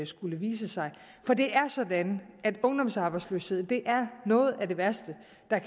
skulle vise sig for det er sådan at ungdomsarbejdsløshed er noget af det værste